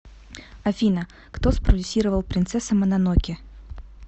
афина кто спродюссировал принцесса мононоке